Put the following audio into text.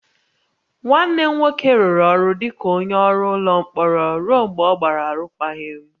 Nwanne m nwoke rụrụ ọrụ dị ka onye ọrụ ụlọ mkpọrọ ruo mgbe ọ gbara arụkwaghịm